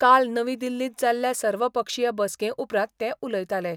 काल नवी दिल्लीत जाल्ल्या सर्वपक्षीय बसके उपरांत ते उलयताले.